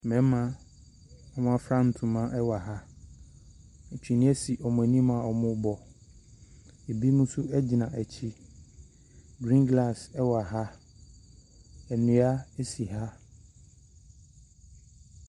Mmarima a wafura ntama wɔ ha. Akyene si bi anim a wɔrebɔ ebi nso gyina akyi griini glaase wɔ ha dua si ha.